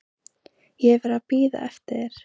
Ég hef verið að bíða eftir þér.